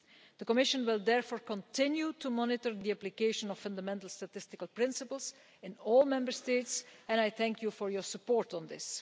The Commission will therefore continue to monitor the application of fundamental statistical principles in all Member States, and I thank the House for its support on this.